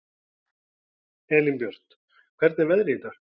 Elínbjört, hvernig er veðrið í dag?